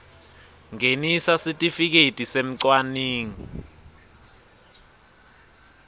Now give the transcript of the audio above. ngenisa sitifiketi semcwaningi